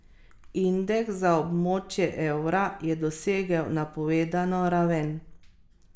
Indeks za območje evra je dosegel napovedano raven.